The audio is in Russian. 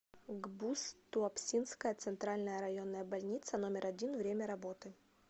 гбуз туапсинская центральная районная больница номер один время работы